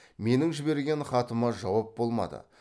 менің жіберген хатыма жауап болмады